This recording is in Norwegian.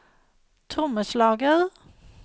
trommeslager